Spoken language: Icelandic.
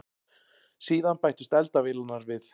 Síðan bættust eldavélarnar við.